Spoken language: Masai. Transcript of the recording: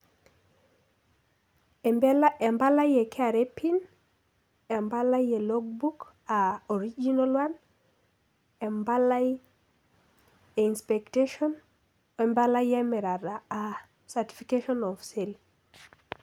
Empabai ee KRA empalai ee Logbook aa Original one empalai ee Inspectation woo empalai ee mirata aa Certification of Sales